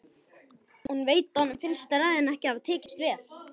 Hún veit að honum finnst ræðan hafa tekist vel.